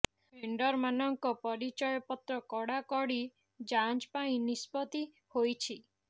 ଭେଣ୍ଡରମାନଙ୍କ ପରିଚୟ ପତ୍ର କଡ଼ାକଡ଼ି ଯାଞ୍ଚ ପାଇଁ ନିଷ୍ପତ୍ତି ହୋଇଛି